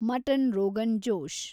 mutton rogan Josh